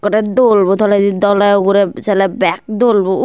ekkorey dol bo toledi doley ugurey seley bek dol bo wuh.